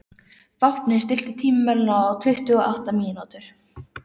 Vápni, stilltu tímamælinn á tuttugu og átta mínútur.